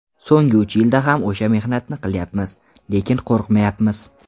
So‘nggi uch yilda ham o‘sha mehnatni qilyapmiz, lekin qo‘rqmayapmiz.